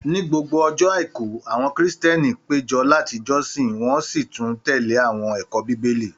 Ní gbogbo ọjọ́ àìkú, àwọn krìstìẹ́nì pé jọ láti jọ́sin wọ́n sì tún tẹ̀lé àwọn ẹ̀kọ́ Bíbélì.